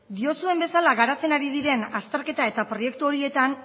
diozuen bezala garatzen ari diren azterketa eta proiektu horietan